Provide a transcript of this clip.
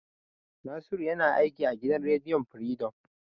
Nasiru yana aiki a gidan rediyon Firidom.